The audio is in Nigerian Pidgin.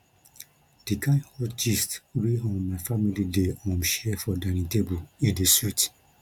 di kain hot gist wey um my family dey um share for dining table e dey sweet